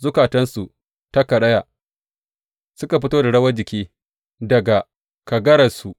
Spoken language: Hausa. Zukatansu ta karaya; suka fito da rawan jiki daga kagararsu.